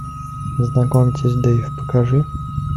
знакомьтесь дэйв покажи